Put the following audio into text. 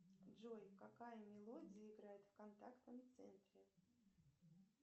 джой какая мелодия играет в контактном центре